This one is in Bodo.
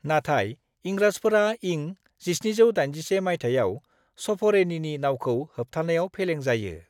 नाथाइ इंराजफोरा इं 1781 माइथायाव सफरेनिनि नावखौ होबथानायाव फेलें जायो।